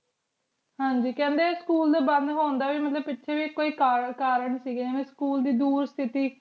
ਹਨ ਜੀ ਖੰਡੀ ਕੀ school ਦਾ ਬਣ ਹੁੰਦਾ ਮਤਲਬ ਮਤਲਬ ਕੀ ਕੋਈ ਕਰਨ ਸੇ ਗੀ ਹਾਨਾ school ਟੀ ਡੋਰ city